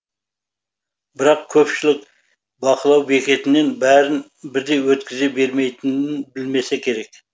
бірақ көпшілік бақылау бекетінен бәрін бірдей өткізе бермейтінін білмесе керек